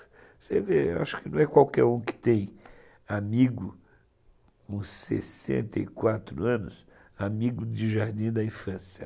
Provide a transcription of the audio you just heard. Você vê, acho que não é qualquer um que tem amigo com sessenta e quatro anos, amigo de jardim da infância.